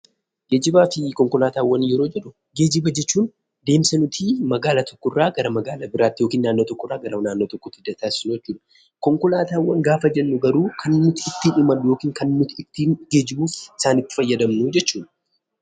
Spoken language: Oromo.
Geejjibaafi konkolaataawwan yeroo jedhuu; geejjiba jechuun deemsa nutti magaala tokko irraa garaa magaala biratti ykn naannoo tokko irraa garaa naannoo tokkotti ittin taasisnu jechuudha. Konkolaataawwan gaafa jennu garuu, Kan nutti ittin imallu ykn Kan nutti ittin geejjibuuf isaanitti fayyadaamnu jechuudha.